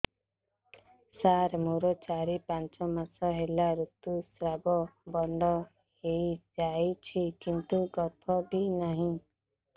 ସାର ମୋର ଚାରି ପାଞ୍ଚ ମାସ ହେଲା ଋତୁସ୍ରାବ ବନ୍ଦ ହେଇଯାଇଛି କିନ୍ତୁ ଗର୍ଭ ବି ନାହିଁ